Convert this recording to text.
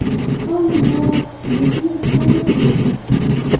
Ammo tushunishni istamayapti.